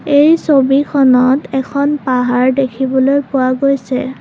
এই ছবিখনত এখন পাহাৰ দেখিবলৈ পোৱা গৈছে।